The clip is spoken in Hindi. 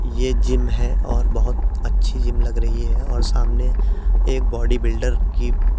ये जिम है और बोहोत अच्छी जिम लग रही है और सामने एक बॉडी-बिल्डर की --